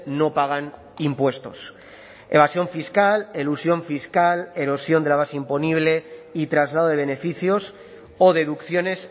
no pagan impuestos evasión fiscal elusión fiscal erosión de la base imponible y traslado de beneficios o deducciones